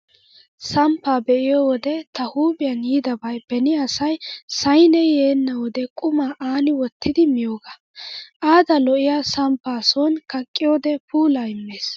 Samppaa be'iyo wode ta huuphiyan yiidabay beni asay saynee yeenna wode qumaa aani wottidi miyoogaa. Adda lo'iyaa samppaa sooni kaqqiyoode puulaa immees.